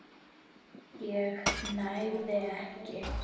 ég nægði ekki.